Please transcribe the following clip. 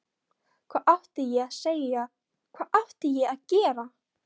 Hvað átti ég að segja, hvað átti ég að gera?